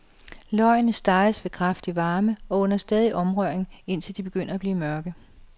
Løgene steges ved kraftig varme og under stadig omrøring, indtil de begynder at blive mørke.